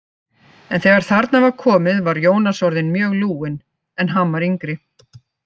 En þegar þarna var komið var Jónas orðinn mjög lúinn, en hann var yngri.